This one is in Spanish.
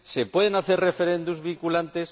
¿Se pueden hacer referendos vinculantes?